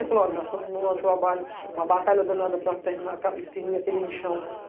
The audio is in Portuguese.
Ele falou, olha, nós estamos num trabalho, uma batalha danada para extinguir aquele lixão.